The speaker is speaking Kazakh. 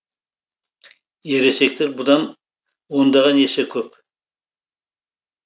ересектер бұдан ондаған есе көп